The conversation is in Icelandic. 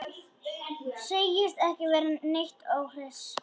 Segist ekki vera neitt óhress.